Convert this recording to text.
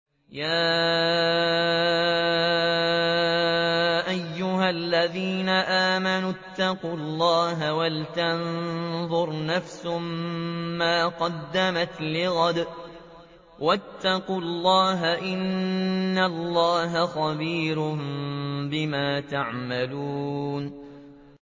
يَا أَيُّهَا الَّذِينَ آمَنُوا اتَّقُوا اللَّهَ وَلْتَنظُرْ نَفْسٌ مَّا قَدَّمَتْ لِغَدٍ ۖ وَاتَّقُوا اللَّهَ ۚ إِنَّ اللَّهَ خَبِيرٌ بِمَا تَعْمَلُونَ